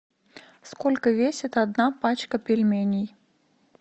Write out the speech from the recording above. сколько весит одна пачка пельменей